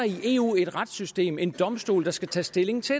i eu et retssystem en domstol der skal tage stilling til